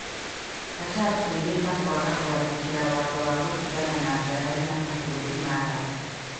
Qatar kwĩhĩta kwaga gũathĩkira watho wa gũtigana na ngarari na mabũrũri ma Arabu.